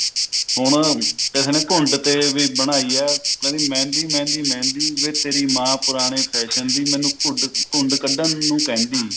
ਹੁਣ ਕਿਸੇ ਨੇ ਘੁੰਡ ਤੇ ਬਣਾਈ ਹੈ ਕਹਿੰਦੀ ਮਹਿੰਦੀ ਮਹਿੰਦੀ ਮਹਿੰਦੀ ਵੇ ਤੇਰੀ ਮਾਂ ਪੁਰਾਣੇ fashion ਦੀ ਮੈਨੂੰ ਘੁੜ ਘੁੰਡ ਕੱਢਣ ਨੂੰ ਕਹਿੰਦੀ